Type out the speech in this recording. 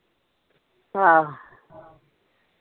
ਆਹ।